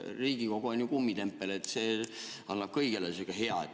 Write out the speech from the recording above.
Riigikogu on kummitempel, annab kõigele sihukese ...